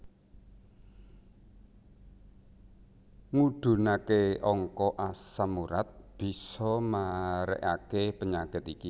Ngudhunake angka asam urat bisa marekake penyakit iki